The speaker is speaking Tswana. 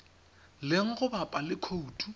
leng go bapa le khoutu